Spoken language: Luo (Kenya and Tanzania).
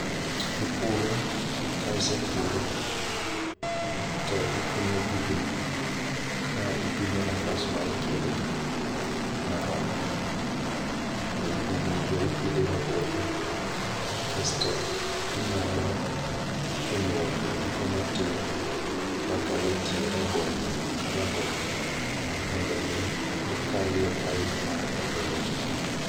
Ipuro kaisepuro to ikunyo bugni ka ipimo nafas ma e kindgi maromre. Ei bigni go ipidhe rabolo kasto inyalo kunyo olni moko matin makale tie rabolo ka rabolo mondo mi ikalie pipe mar olo ne gi pii.